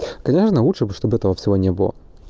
конечно лучше бы чтобы этого всего не было